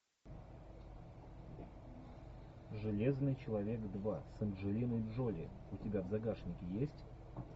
железный человек два с анджелиной джоли у тебя в загашнике есть